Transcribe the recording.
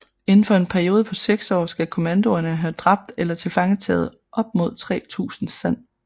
Inden for en periode på seks år skal kommandoerne have dræbt eller tilfangetaget op mod 3000 san